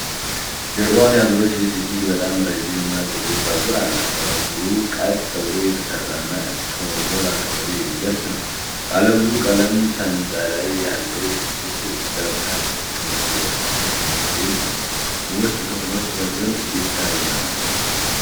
ጀርባዋን ያዞረች ልጅ እጅግ በጣም ረዥም እና ጥቁር ፀጉር አላት። ፀጉሩ ቀጥ ብሎ የተሠራና እስከ ወገብ አካባቢ የሚደርስ ነው። ባለብዙ ቀለም ሰንጠረዥ ያለው ሸሚዝ ለብሳለች። ከበስተጀርባዋ የመኖሪያ ቤት ውስጥ ክፍሎች በግልጽ ይታያሉ።